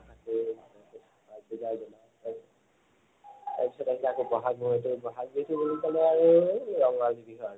তাৰপিছত আহিলে আকৌ বহাগ বিহুটো। বহাগ বিহুটো বুলি কলে আৰু সেই ৰঙালী বিহু আৰু।